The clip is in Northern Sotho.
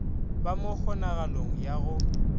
ba mo kgonagalong ya go